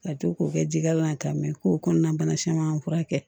Ka to k'o kɛ jikalan ka mɛn ko kɔnɔna bana caman fura kɛ